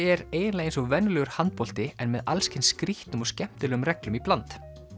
er eiginlega eins og venjulegur handbolti en með alls kyns skrýtnum og skemmtilegum reglum í bland